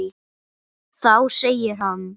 Þá segir hann